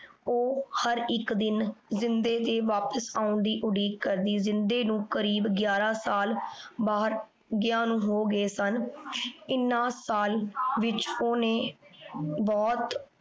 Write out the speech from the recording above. ਊ ਹਰ ਏਇਕ ਦਿਨ ਜਿੰਦੇ ਦੇ ਵਾਪਿਸ ਆਉਣ ਦੀ ਉਡੀਕ ਕਰਦੀ ਜਿੰਦੇ ਨੂ ਕਰੀਬ ਗਾਯਾਰਾਂ ਸਾਲ ਬਹਿਰ ਗਾਯ ਹੋ ਗਾਯ ਸਨ ਏਨੇ ਸਾਲ ਵਿਚ ਓਹਨੇ ਬੋਹਾਹਤ